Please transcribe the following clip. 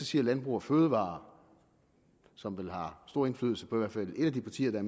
siger landbrug fødevarer som har stor indflydelse på i hvert fald et af de partier der